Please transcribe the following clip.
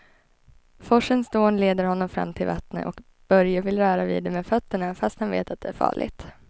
Forsens dån leder honom fram till vattnet och Börje vill röra vid det med fötterna, fast han vet att det är farligt.